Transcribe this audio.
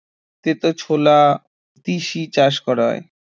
তেতো ছোলা, তিসি চাষ করা হয়